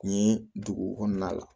N ye dugu kɔnɔna la